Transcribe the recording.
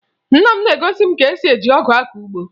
Nna m na-egosi m ka esi eji ọgụ akọ ugbo